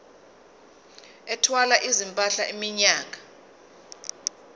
ethwala izimpahla iminyaka